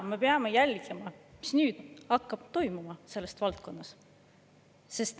Me peame jälgima, mis nüüd hakkab toimuma selles valdkonnas.